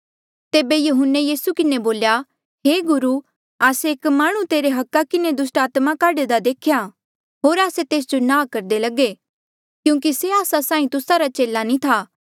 तेबे यहून्ने यीसू किन्हें बोल्या हे गुरु आस्से एक माह्णुं तेरे अधिकारा किन्हें दुस्टात्मा काढदा देख्या होर आस्से तेस जो नांह करदे रहे क्यूंकि से आस्सा साहीं तुस्सा रा चेला नी था